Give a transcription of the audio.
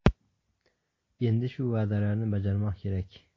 Endi shu va’dalarni bajarmoq kerak.